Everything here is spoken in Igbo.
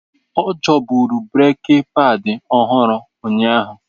Ọ chọburu breeki padi ọhụrụ unyaahu.